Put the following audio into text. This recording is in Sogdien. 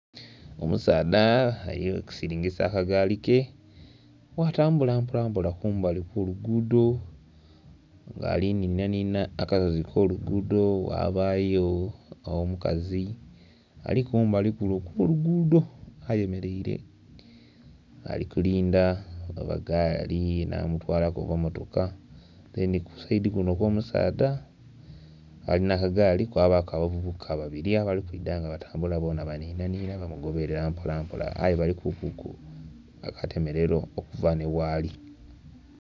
Omusaadha ali kusiringisa aka gaali ke gha atambula mpolampola kumbali okw'oluguudo nga ali nhinhanhinha akasozi ak'oluguudo ghabayo omukazi ali kumbali kule okw'oluguudo ayemereire ali kulindha oba gaali enha mutwala ku oba mmotoka dheni ku sayidi kuno okw'omusaadha alina agaali kwabaku abavubuka babiri abali kwidha nga batambula bonha banhinhanhinha bamugoberera mpolampola aye balikuku akatemerero okuva nhighali.